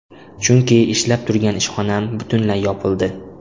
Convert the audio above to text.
Chunki ishlab turgan ishxonam butunlay yopildi.